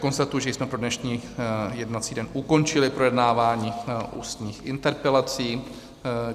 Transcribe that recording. Konstatuji, že jsme pro dnešní jednací den ukončili projednávání ústních interpelací.